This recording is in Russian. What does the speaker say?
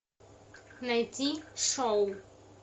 найти шоу